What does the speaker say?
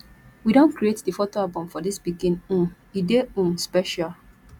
we don create di photo album for dis pikin um e dey um special